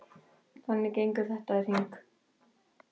Þannig gengur þetta í hring.